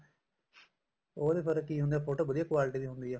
ਉਹਦੇ ਬਾਰੇ ਕੀ ਹੁੰਦਾ ਫੋਟੋ ਵਧੀਆ quality ਦੀ ਹੁੰਦੀ ਆ